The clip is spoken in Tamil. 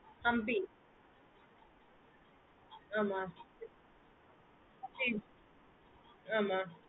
humpi ஹம் ஆமா